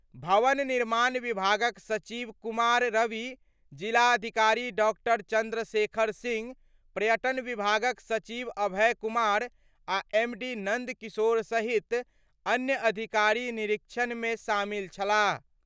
भवन निर्माण विभागक सचिव कुमार रवि, जिलाधिकारी डॉ. चन्द्रशेखर सिंह, पर्यटन विभागक सचिव अभय कुमार आ एमडी नन्द किशोर सहित अन्य अधिकारी निरीक्षण मे शामिल छलाह।